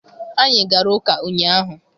Anyị gara ụka ụnyaahụ.